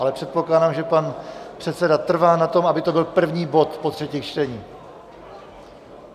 Ale předpokládám, že pan předseda trvá na tom, aby to byl první bod po třetích čteních.